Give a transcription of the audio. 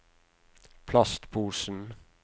plastposen